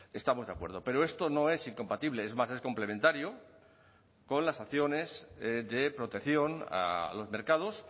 estamos de acuerdo pero esto no es incompatible es más es complementario con las acciones de protección a los mercados